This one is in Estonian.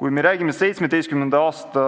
Kui me räägime 2017. aasta